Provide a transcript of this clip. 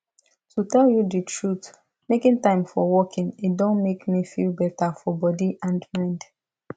to tell you the truth making time for walking e don make me feel better for body and mind